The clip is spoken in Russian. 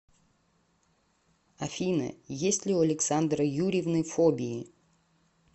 афина есть ли у александры юрьевны фобии